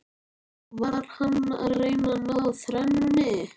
Var hann að reyna að ná þrennunni?